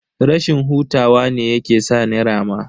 Rashin hutawa ne yake sa ni rama.